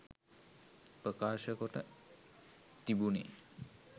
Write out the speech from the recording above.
ප්‍රකාශකොට තිබුනේ